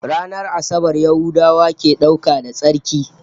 Ranar Asabar Yahudawa ke dauka da tsarki